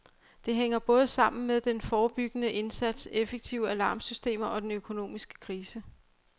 Det hænger både sammen med den forebyggende indsats, effektive alarmsystemer og den økonomiske krise.